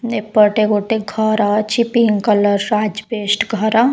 ଏପଟେ ଗୋଟେ ଘର ଅଛି ପିଙ୍କ କଲର୍ ର ଆଜବେଷ୍ଟ୍ ଘର ।